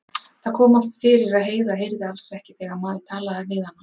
Það kom oft fyrir að Heiða heyrði alls ekki þegar maður talaði við hana.